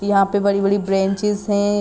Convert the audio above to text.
यहाँ पे बड़ी -बड़ी ब्रेंचिस है।